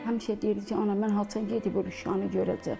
Həmişə deyirdi ki, ana, mən haçan gedib o lüşanı görəcəm?